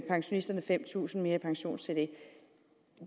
pensionisterne fem tusind kroner mere i pensionstillæg